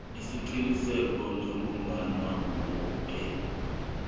isiqiniseko sokobana woke